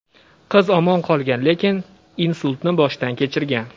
Qiz omon qolgan, lekin insultni boshdan kechirgan.